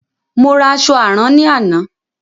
Mo ra àṣọ àrán ní àná.